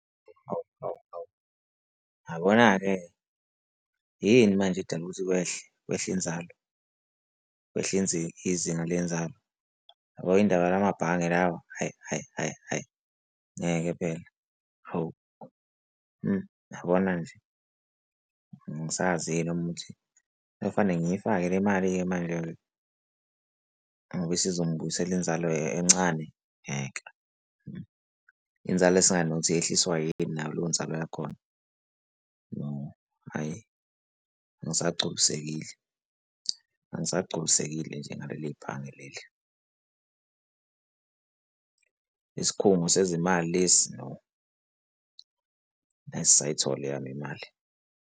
Awu, awu, awu, yabona-ke yini manje edala ukuthi kwehle? Kwehle inzalo? Kwehle izinga lenzalo? Yabo indaba yala mabhange lawa, hhayi, hhayi, hhayi hhayi, ngeke phela, hawu, yabona nje angisazi-ke noma ukuthi sekufanele ngiyifake le mali-ke manje-ke ngoba isizongibuyisela inzalo encane, ngeke, inzalo esingazi nokuthi yehliswa yini nayo leyo nzalo yakhona, no, hhayi, angisagculisekile, angisagculisekile nje ngaleli bhange leli, isikhungo sezimali lesi, no, ngeke zisayithola eyami imali.